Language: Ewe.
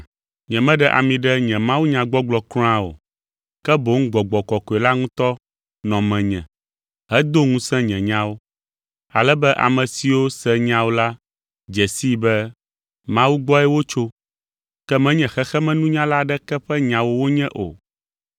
Nyemeɖe ami ɖe nye mawunyagbɔgblɔ kura o, ke boŋ Gbɔgbɔ Kɔkɔe la ŋutɔ nɔ menye hedo ŋusẽ nye nyawo, ale be ame siwo se nyawo la dze sii be Mawu gbɔe wotso, ke menye xexemenunyala aɖeke ƒe nyawo wonye o.